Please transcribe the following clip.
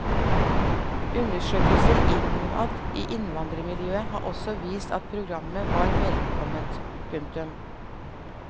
Undersøkelser innad i innvandrermiljøer har også vist at programmet er velkomment. punktum